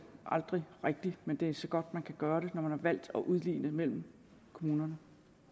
aldrig rigtig men det er så godt man kan gøre det når man har valgt at udligne mellem kommunerne